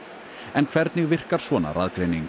en hvernig virkar svona